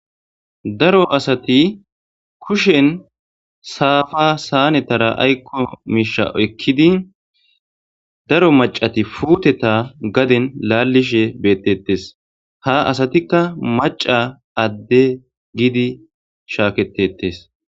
daro asati kushen saafa saanetara aykko miisha oykkidi daro macati puuteta gaden laallishe beettettes ha asatikka maca adde giidi shaaketetes